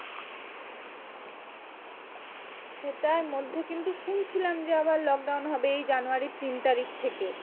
সেটার মধ্যে কিন্তু শুনছিলাম যে আবার lockdown হবে এই জানুয়ারির তিন তারিখ থেকে।